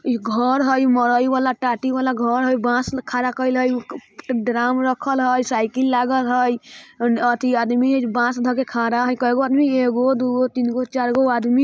इ घर हई मरई वाला टाटी वाला घर हय बांस खड़ा केएल हई ड्राम रखल हय साइकिल लागल हय अ अथी आदमी हय जे बांस धअके खड़ा हय कएगो आदमी एगो दु गो तीन गो चार गो आदमी --